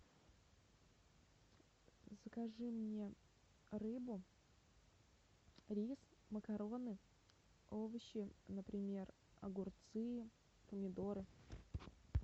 закажи мне рыбу рис макароны овощи например огурцы помидоры